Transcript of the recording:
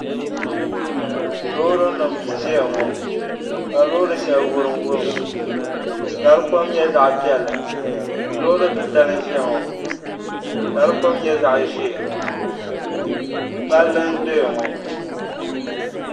Loori nim n ʒiya ŋɔ ka loori shɛli wurim wurim ka di kom nyɛ zaɣ piɛlli loori titali n ʒiya ŋɔ ka di kom nyɛ zaɣ ʒiɛ palli n doya ŋɔ